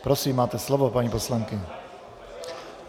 Prosím, máte slovo, paní poslankyně.